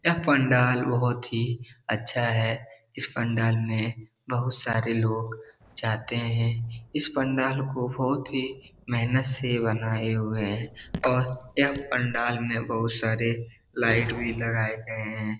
यह पंडाल बहोत ही अच्छा है इस पंडाल में बहोत सारे लोग जाते हैं इस पंडाल को बहोत ही मेहनत से बनाए हुए हैं और यह पंडाल में बहोत सारे लाइट भी लगाए गए हैं।